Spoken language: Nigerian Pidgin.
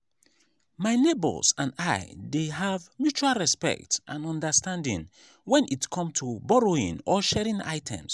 my neighbors and i dey have mutual respect and understanding when it come to borrowing or sharing items.